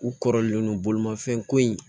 U kɔrɔlen don bolimafɛn ko in